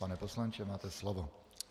Pane poslanče, máte slovo.